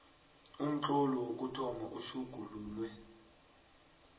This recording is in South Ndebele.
umtlolo wokuthoma utjhugululwe